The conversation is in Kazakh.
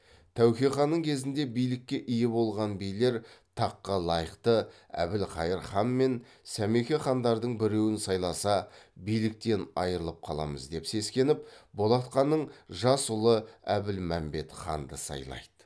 тәуке ханның кезінде билікке ие болған билер таққа лайықты әбілқайыр хан мен сәмеке хандардың біреуін сайласа биліктен айырылып қаламыз деп сескеніп болат ханның жас ұлы әбілмәмбет ханды сайлайды